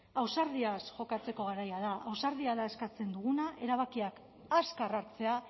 ausardiaz jokatzeko garaia da ausardia da eskatzen duguna erabakiak azkar hartzea